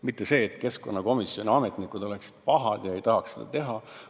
Ei ole nii, nagu keskkonnakomisjoni ametnikud oleksid pahad ega tahaks seda teha.